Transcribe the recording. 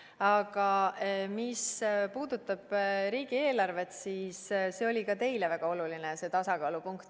Aga mis puudutab riigieelarvet, siis see tasakaalupunkt oli ka teile väga oluline.